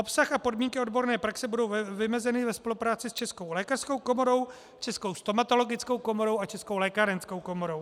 Obsah a podmínky odborné praxe budou vymezeny ve spolupráci s Českou lékařskou komorou, Českou stomatologickou komorou a Českou lékárenskou komorou.